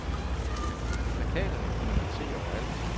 Plakaterne kunne man se overalt.